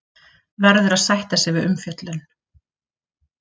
Verður að sætta sig við umfjöllun